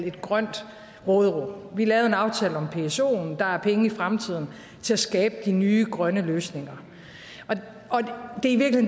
et grønt råderum vi lavede en aftale om psoen der er penge i fremtiden til at skabe de nye grønne løsninger det